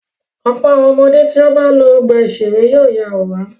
Ọ̀pọ̀ àwọn ọmọdé tí ó bá lọ ọgbà-ìṣeré yóò ya àwòrán.